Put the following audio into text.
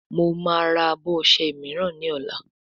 Mọ má rà abọ ọṣẹ míràn ní ola